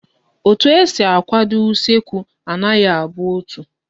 Etu esi akwado usekwu anaghi abụ otu